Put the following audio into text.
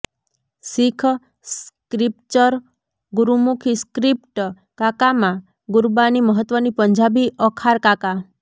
શીખ scripture Gurmukhi script કાકામાં ગુરબાની મહત્વની પંજાબી અખાર કાકા